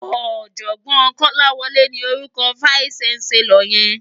Òjògbòn Kolawole ni órúkò fáìsí ṣánsèlòr yèn